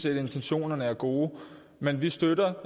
at intentionerne er gode men vi støtter